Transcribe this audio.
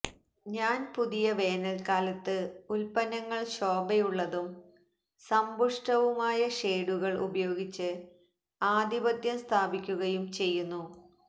ഞാൻ പുതിയ വേനൽക്കാലത്ത് ഉൽപ്പന്നങ്ങൾ ശോഭയുള്ളതും സമ്പുഷ്ടവുമായ ഷേഡുകൾ ഉപയോഗിച്ച് ആധിപത്യം സ്ഥാപിക്കുകയും ചെയ്യുന്നു